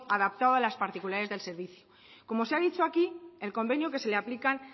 adaptado a las particularidades del servicio como se ha dicho aquí el convenio que se le aplican